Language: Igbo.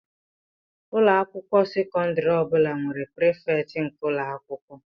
Ụlọ akwụkwọ sekọndrị ọ bụla nwere prefect nke ụlọ akwụkwọ